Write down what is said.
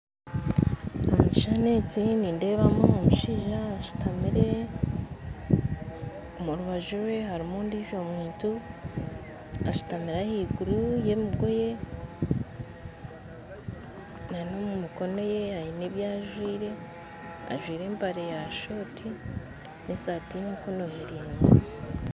Omu kishuushani eki nindeebamu omushaija ashuutamire omurubaju rwe harimu ondijo muntu ashuutamire ahaiguru y'emigoye n'omu mikono ye aine ebyajwire ajwire empare ya short n'esaati y'emikono miraigwa